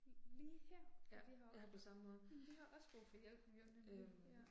Ja, jeg har det på samme måde. Øh